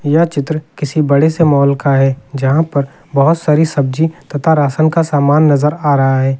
यह चित्र किसी बड़े से मॉल का है जहां पर बहोत सारी सब्जी तथा राशन का सामान नजर आ रहा है।